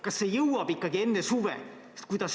Kas see jõuab siia enne suve?